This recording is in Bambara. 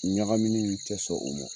Ɲagamini in tɛ sɔn o mɔ